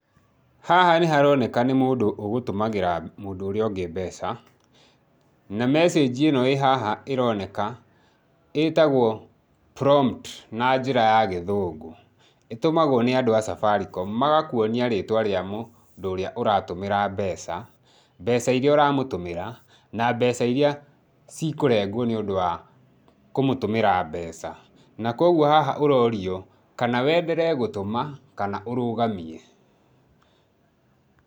Haha nĩ haroneka nĩ mũndũ ũgũtũmagĩra mũndũ ũrĩa ũngĩ mbeca, na message ĩno ĩhaha ĩroneka itagwo prompt na njĩra ya gĩthũngũ. Ĩtũmagwo nĩ andũ a Safaricom, magakuonia rĩtwa rĩa mũndũ ũrĩa ũramũtũmĩra mbeca, mbeca iria ũramũtũmĩra na cikũrengwo nĩ ũndũ wa kũmũtũmĩra mbeca, na kũoguo haha ũrorio kana wenderee gũtũma, kana ũrũgamie.